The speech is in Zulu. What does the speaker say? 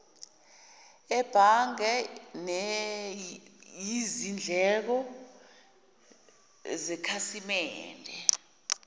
ebhange neyizindleko zekhasimende